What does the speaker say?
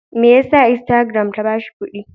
Me ya sa instagram ta ba shi kuɗi?